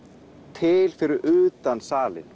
til fyrir utan salinn